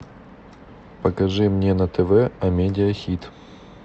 покажи мне на тв амедиа хит